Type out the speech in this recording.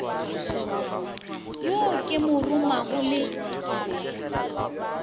yo ke mo romago le